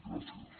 gràcies